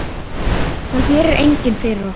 Það gerir enginn fyrir okkur.